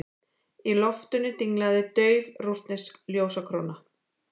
Í loftinu dinglaði dauf rússnesk ljósakróna.